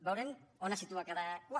veurem on es situa cada u